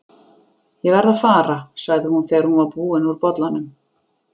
Ég verð að fara, sagði hún þegar hún var búin úr bollanum.